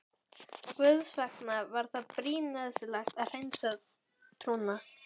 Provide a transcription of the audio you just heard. Guðs vegna var það brýn nauðsyn að hreinsa trúna.